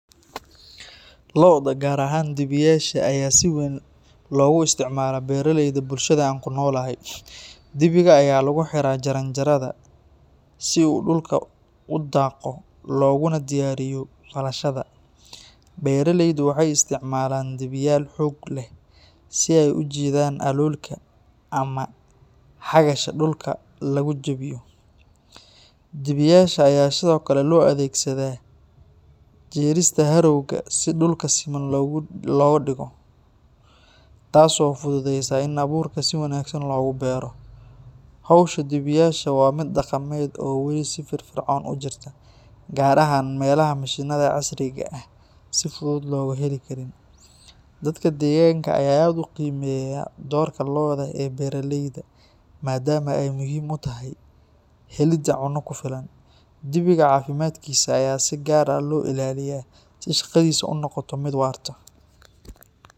Lo’da gaar ahaan dibiyaasha ayaa si weyn loogu isticmaalaa beeraleyda bulshada aan ku noolahay. Dibiga ayaa lagu xiraa jaranjarada si uu dhulka u qodo looguna diyaariyo falashada. Beeraleydu waxay isticmaalaan dibiyaal xoog leh si ay u jiidaan aloolka ama xagasha dhulka lagu jabeeyo. Dibiyaasha ayaa sidoo kale loo adeegsadaa jiidista harrow-ga si dhulka siman loogu dhigo, taas oo fududeysa in abuurka si wanaagsan loogu beero. Hawsha dibiyaasha waa mid dhaqameed oo weli si firfircoon u jirta, gaar ahaan meelaha mishiinada casriga ah aan si fudud loo heli karin. Dadka deegaanka ayaa aad u qiimeeya doorka lo’da ee beeraleyda, maadaama ay muhiim u tahay helidda cunno ku filan. Dibiga caafimaadkiisa ayaa si gaar ah loo ilaaliyaa si shaqadiisa u noqoto mid waarta.